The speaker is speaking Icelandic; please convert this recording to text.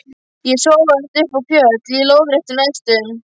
Ég sogaðist uppá fjöll, í lóðréttum lestum.